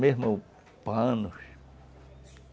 Mesmo panos.